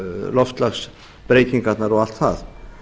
loftslagsbreytingarnar og allt það